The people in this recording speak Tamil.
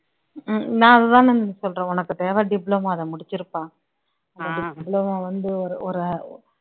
ஹம் நான் அது தானுங்க சொல்றேன், உனக்கு தேவை அதை முடிச்சுருப்பா diploma வந்து ஒரு ஒரு